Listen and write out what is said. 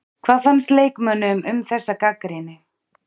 Hvað fannst leikmönnum um þessa gagnrýni?